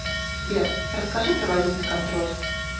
сбер расскажи про валютный контроль